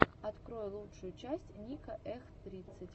открой лучшую часть ника эх тридцать